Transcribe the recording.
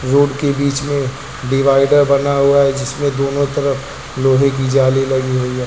Road के बीच में डिवाइडर बना हुआ है जिसमें दोनों तरफ लोहे की जाली लगी हुई है।